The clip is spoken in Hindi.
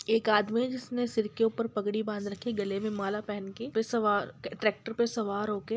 एक आदमी है जिसने सर पर पग़डी बांध रखी है गले मे माला पहेन के व ट्रैक्टर मे सवार होके--